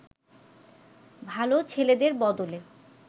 ভালো ছেলেদের বদলে